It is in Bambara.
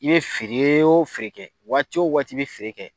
I bɛ feere o feere kɛ, waati o waati i bɛ feere kɛ.